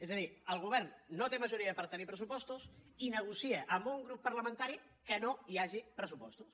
és a dir el govern no té majoria per tenir pressupostos i negocia amb un grup parlamentari que no hi hagi pressupostos